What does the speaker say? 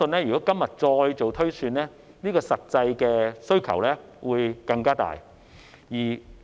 如果今天再做推算，我相信實際的需求會更大。